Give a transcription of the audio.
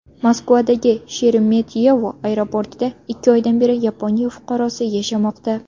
Moskvadagi Sheremetyevo aeroportida ikki oydan beri Yaponiya fuqarosi yashamoqda.